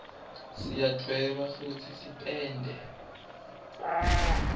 siyadweba futsi sipende